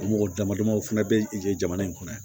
O mɔgɔ dama dama o fana bɛ yen jamana in kɔnɔ yan